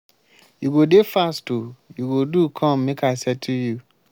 you go dey fast o you go do come make i settle you.